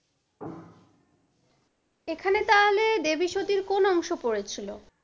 এখানে তাহলে দেব সতীর তাহলে কোন অংশ পড়েছিল?